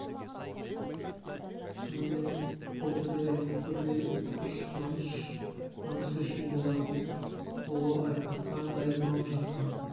шынымен бұл түні ұйқы көрмей тыпыршып намыс үшін болатын ұлы айқасқа дайындалып жатқан